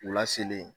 U laselen